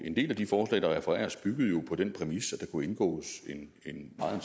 og en del af de forslag der refereres til byggede jo på den præmis at der kunne indgås en meget